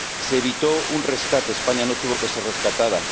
Se evitó un rescate, España no tuvo que ser rescatada.